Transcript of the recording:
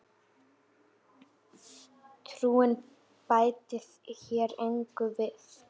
Slaufa getur átt við